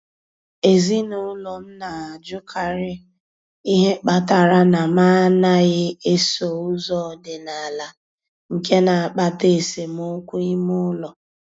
Ezinụlọ m na-ajụkarị ihe kpatara na m anaghị eso ụzọ ọdịnala, nke na-akpata esemokwu ime ụlọ.